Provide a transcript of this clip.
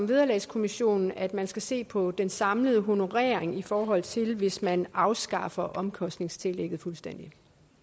vederlagskommissionen at man skal se på den samlede honorering i forhold til hvis man afskaffer omkostningstillægget fuldstændig